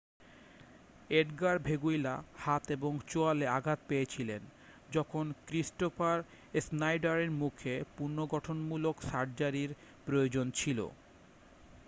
Edgar Veguilla হাত এবং চোয়ালে আঘাত পেয়েছিলেন যখন ক্রিস্টোফার স্নাইডারের মুখের পুনর্গঠনমূলক সার্জারির প্রয়োজন ছিল